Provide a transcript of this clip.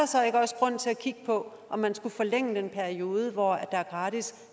så ikke også grund til at kigge på om man skulle forlænge den periode hvor der er gratis